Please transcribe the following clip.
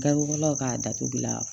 Garibulaw ka datugula